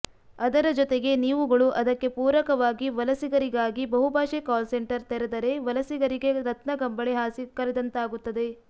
ಅದರ ಜೊತೆಗೆ ನೀವುಗಳು ಅದಕ್ಕೆ ಪೂರಕವಾಗಿ ವಲಸಿಗರಿಗಾಗಿ ಬಹುಭಾಷೆ ಕಾಲಸೆಂಟರ್ ತೆರದರೆ ವಲಸಿಗರಿಗೆ ರತ್ನಗಂಬಳಿ ಹಾಸಿ ಕರೆದಂತಾಗುತ್ತದೆ